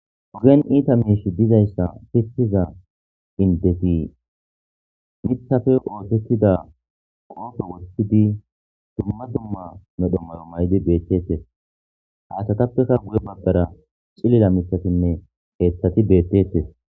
ogen iita miish dizayssa pishiza indeti mithafe oosettida qoofo wottidi dumma dumma nodhommayo may7di beeththetes haasatappeka guye babbara cilila mithatinne heeththati beettetes.